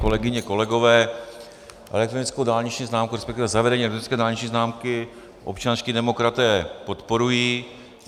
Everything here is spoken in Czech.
Kolegyně, kolegové, elektronickou dálniční známku, respektive zavedení elektronické dálniční známky občanští demokraté podporují.